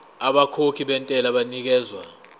abakhokhi bentela banikezwa